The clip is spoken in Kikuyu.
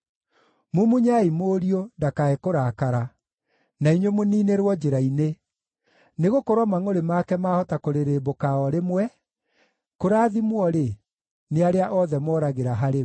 Mumunyai Mũriũ, ndakae kũrakara, na inyuĩ mũniinĩrwo njĩra-inĩ, nĩgũkorwo mangʼũrĩ make maahota kũrĩrĩmbũka o rĩmwe. Kũrathimwo-rĩ, nĩ arĩa othe moragĩra harĩ we.